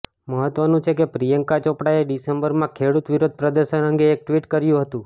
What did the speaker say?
મહત્વનું છે કે પ્રિયંકા ચોપડાએ ડિસેમ્બરમાં ખેડૂત વિરોધ પ્રદર્શન અંગે એક ટ્વીટ કર્યું હતું